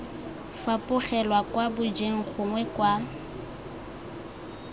fapogelwa kwa mojeng gongwe kwa